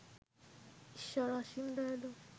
ঈশ্বর অসীম দয়ালু